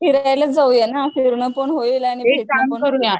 फिरायलाच जाऊया ना, फिरणंपण होईल